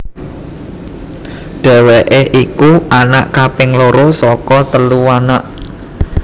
Dheweké iku anak kaping loro saka telu anak